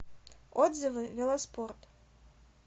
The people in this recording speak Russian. отзывы велоспорт